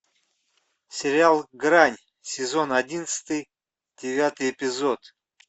сериал грань сезон одиннадцатый девятый эпизод